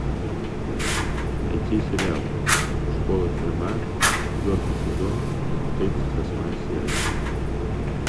найти сериал школа тюрьма четвертый сезон тридцать восьмая серия